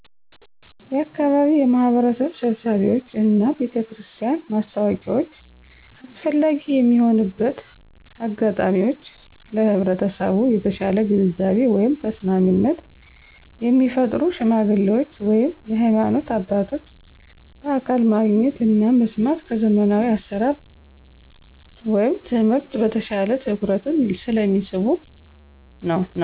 የአካባቢ የማህበረሰብ ስብሰባዎች እና የቤተክርስቲያን ማስታወቂያዎች አስፈላጊ የሚሆንበት አጋጣሚወች ለህብረተሰቡ የተሻለ ግንዛቤ (ተሰሚነት) የሚፈጥሩ ሽማግሌዎች ወይም የሀይማኖት አባቶች በአካል ማግኘት እና መስማት ከዘመናዊ አሰራር (ትምህርት) በተሻለ ትኩረትን ስለሚስቡ ነዉ።